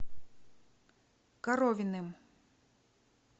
коровиным